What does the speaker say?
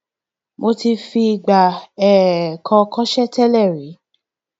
mo ti fìgbà um kan kọṣẹẹ tẹlẹ rí